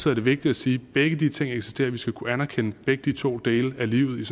er det vigtigt at sige at begge de ting eksisterer og vi skal kunne anerkende begge de to dele af livet